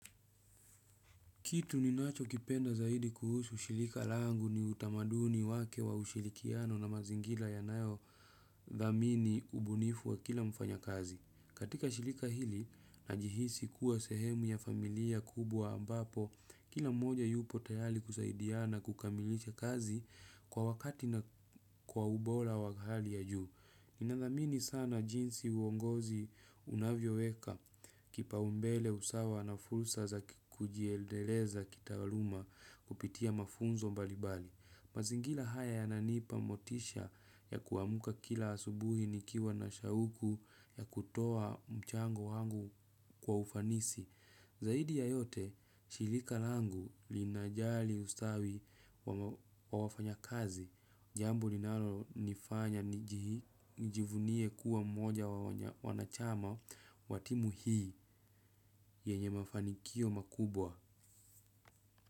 Kitu ni nacho kipenda zaidi kuhusu shirika langu ni utamaduni wake wa ushirikiano na mazingira yanayo dhamini ubunifu wa kila mfanyakazi. Katika shirika hili na jihisi kuwa sehemu ya familia kubwa ambapo kila mmoja yupo tayari kusaidiana kukamilisha kazi kwa wakati na kwa ubora wa hali ya juu. Ninadhamini sana jinsi uongozi unavyo weka kipaumbele usawa na fursa za kujiendeleza kitawaluma kupitia mafunzo mbalimbali. Mazingira haya yananipa motisha ya kuamuka kila asubuhi nikiwa na shauku ya kutoa mchango wangu kwa ufanisi. Zaidi ya yote, shirika langu linajali ustawi wa wafanyakazi, jambo linalo nifanya nijivunie kuwa mmoja wanachama wa timu hii yenye mafanikio makubwa.